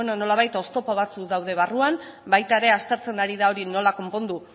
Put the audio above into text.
beno nolabait oztopo batzuk daude barruan baita ere aztertzen ari da hori nola konpondu